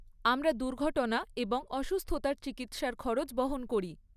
আমরা দুর্ঘটনা এবং অসুস্থতার চিকিৎসার খরচ বহন করি।